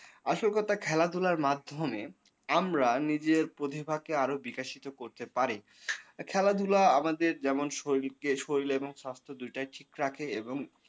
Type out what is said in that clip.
আসল কথা খেলাধুলার মাধ্যমে আমরা নিজের প্রতিভাকে আরো বিকশিত করতে পারে খেলাধুলা আমাদের যেমন শরীরকে শরীর এবং সাস্থ্য দুটাই ঠিক থাকে এবং